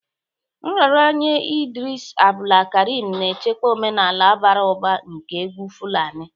Nraranye Idris Abdulkarim na-echekwa omenala bara ụba nke egwu Fulani.